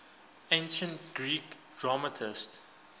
ancient greek dramatists